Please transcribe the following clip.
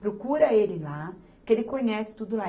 Procura ele lá, que ele conhece tudo lá.